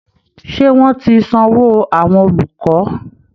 Ṣé wọ́n ti sanwó àwọn olùkọ́